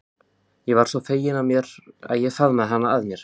Ég varð svo fegin að ég faðmaði hana að mér.